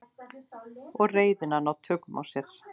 Og reiðina ná tökum á sér.